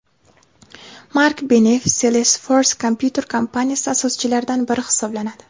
Mark Beneff Salesforce kompyuter kompaniyasi asoschilaridan biri hisoblanadi.